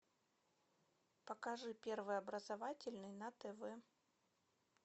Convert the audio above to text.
покажи первый образовательный на тв